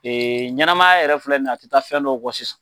Ɲɛnamaya yɛrɛ filɛ ni ye a tɛ taa fɛn dɔ kɔ sisan.